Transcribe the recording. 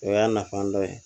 O y'a nafa dɔ ye